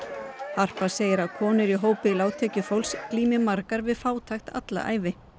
harpa segir að konur í hópi lágtekjufólks glími margar við fátækt alla ævi